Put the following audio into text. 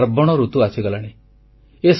ଏବେ ପାର୍ବଣ ଋତୁ ଆସିଗଲାଣି